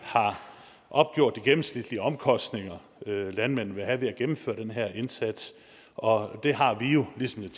har opgjort de gennemsnitlige omkostninger landmanden vil have ved at gennemføre den her indsats og det har vi jo ligesom den